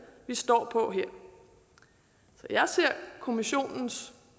vi står på jeg ser kommissionens